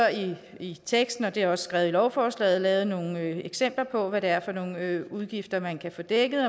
i teksten og det er også skrevet i lovforslaget lavet nogle eksempler på hvad det er for nogle udgifter man kan få dækket i